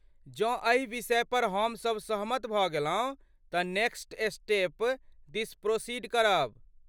जँ एहि विषयपर हम सब सहमत भऽ गेलहुँ तँ नेक्स्ट स्टेप दिस प्रोसीड करब।